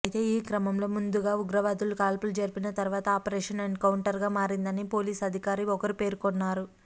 అయితే ఈ క్రమంలో ముందుగా ఉగ్రవాదులు కాల్పులు జరిపిన తరువాత ఆపరేషన్ ఎన్కౌంటర్గా మారిందని పోలీసు అధికారి ఒకరు పేర్కొన్నారు